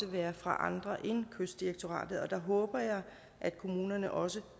være fra andre end kystdirektoratet og der håber jeg at kommunerne også